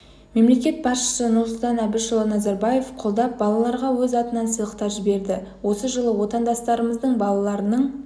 мемлекет басшысы нұрсұлтан әбішұлы назарбаев қолдап балаларға өз атынан сыйлықтар жіберді осы жылы отандастарымыздың балаларының